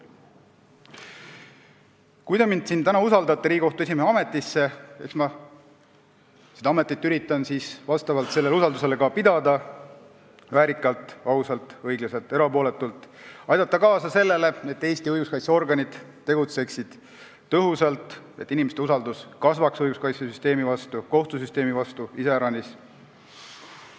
Kui te mind täna usaldate Riigikohtu esimehe ametisse, siis eks ma üritan seda ametit selle usalduse peale pidada väärikalt, ausalt, õiglaselt ja erapooletult ning aidata kaasa sellele, et Eesti õiguskaitseorganid tegutseksid tõhusalt, et inimeste usaldus õiguskaitsesüsteemi, iseäranis kohtusüsteemi vastu kasvaks.